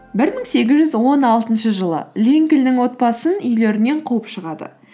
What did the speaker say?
бір мың сегіз жүз он алтыншы жылы линкольннің отбасын үйлерінен қуып шығады